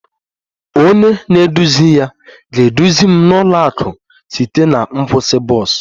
Onye na-eduzi ya ga-eduzi m n'ụlọ akụ site na nkwụsị bọs